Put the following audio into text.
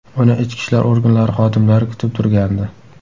Uni ichki ishlar organlari xodimlari kutib turgandi.